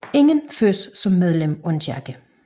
Ingen fødes som medlem af en kirke